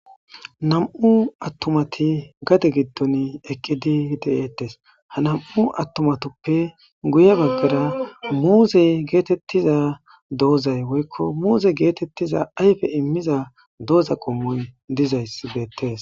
Nam7u attomati gade giddon eqqi di deyeettes ha nam7u attumatuppe guye baggara muuzey geetettiza doozay woykko muuze geetettiza ayfe immiza dooza qommoy dizayss beettees.